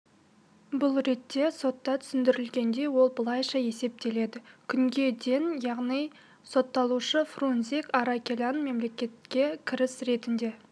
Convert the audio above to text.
бұл ретте сотта түсіндірілгендей ол былайша есептеледі күнге ден яғни сотталушы фрузник аракелян мемлекетке кіріс ретінде